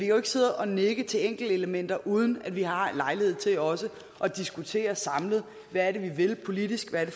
jo ikke sidde og nikke til enkeltelementer uden at vi har haft lejlighed til også at diskutere samlet hvad det er vi vil politisk hvad det